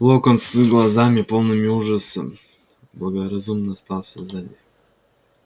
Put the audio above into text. локонс с глазами полными ужаса благоразумно остался сзади